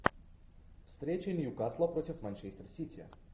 встреча ньюкасла против манчестер сити